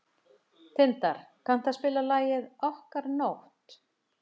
Tindar, kanntu að spila lagið „Okkar nótt“?